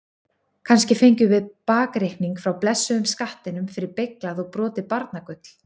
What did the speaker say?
Kannski fengjum við bakreikning frá blessuðum skattinum fyrir beyglað og brotið barnagull?